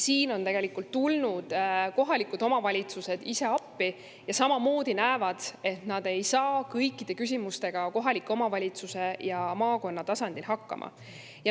Siin on tulnud kohalikud omavalitsused ise appi, nad samamoodi näevad, et nad ei saa kõikide küsimustega kohaliku omavalitsuse ja maakonna tasandil hakkama.